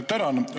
Tänan!